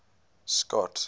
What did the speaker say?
scott